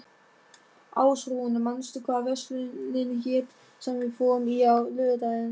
Ásrún, manstu hvað verslunin hét sem við fórum í á laugardaginn?